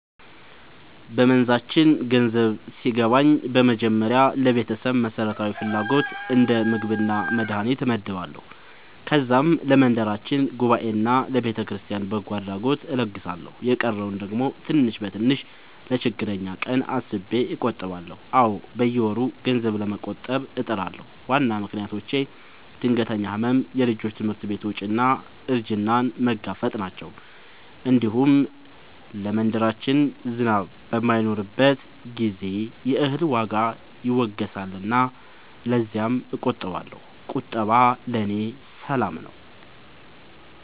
በመንዛችን ገንዘብ ሲገባኝ በመጀመሪያ ለቤተሰብ መሠረታዊ ፍላጎት እንደ ምግብና መድሀኒት እመድባለሁ። ከዛም ለመንደራችን ጉባኤና ለቤተክርስቲያን በጎ አድራጎት እለግሳለሁ። የቀረውን ደግሞ ትንሽ በትንሽ ለችግረኛ ቀን አስቤ እቆጥባለሁ። አዎ፣ በየወሩ ገንዘብ ለመቆጠብ እጥራለሁ። ዋና ምክንያቶቼ ድንገተኛ ሕመም፣ የልጆች ትምህርት ወጪ እና እርጅናን መጋፈጥ ናቸው። እንዲሁም ለመንደራችን ዝናብ በማይኖርበት ጊዜ የእህል ዋጋ ይወገሳልና ለዚያም እቆጥባለሁ። ቁጠባ ለእኔ ሰላም ነው።